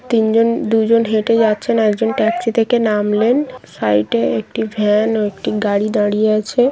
তিনজন দুইজন হেটে যাচ্ছেন একজন ট্যাক্সি থেকে নামলেন সাইড এ একটি ভ্যান ও একটি গাড়ি দাঁড়িয়ে আছে ।